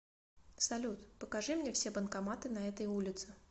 салют покажи мне все банкоматы на этой улице